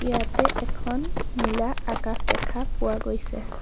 ইয়াতে এখন নীলা আকাশ দেখা পোৱা গৈছে।